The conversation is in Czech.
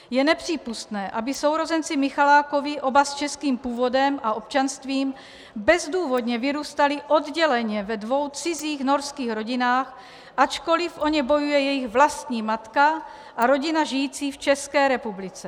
Je nepřípustné, aby sourozenci Michalákovi, oba s českým původem a občanstvím, bezdůvodně vyrůstali odděleně ve dvou cizích norských rodinách, ačkoliv o ně bojuje jejich vlastní matka a rodina žijící v České republice.